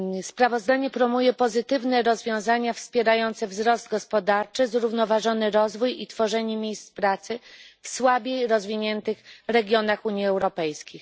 Sprawozdanie proponuje pozytywne rozwiązania wspierające wzrost gospodarczy, zrównoważony rozwój i tworzenie miejsc pracy w słabiej rozwiniętych regionach Unii Europejskiej.